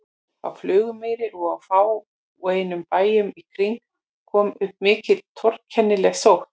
Á Flugumýri og á fáeinum bæjum í kring kom upp mikil og torkennileg sótt.